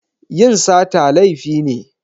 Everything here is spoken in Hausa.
Yin sata laifi ne.